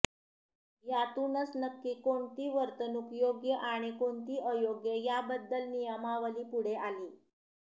यातूनच नक्की कोणती वर्तणूक योग्य आणि कोणती अयोग्य याबद्दल नियमावली पुढे आली